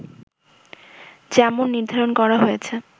যেমন নির্ধারণ করা হয়েছে